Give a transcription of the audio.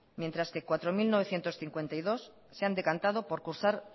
mientras que cuatro mil novecientos cincuenta y dos se han decantado por cursar